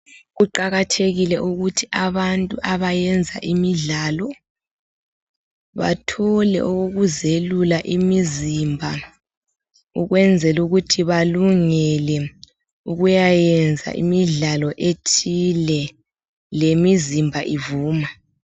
Kuqakathekile ukuthi abantu abayenza imidlalo bathole okokuzelula imizimba ukwenzela ukuthi balungele ukuyayenza imidlalo ethile lemizimba ivuma.